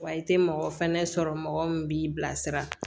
Wa i tɛ mɔgɔ fɛnɛ sɔrɔ mɔgɔ min b'i bilasira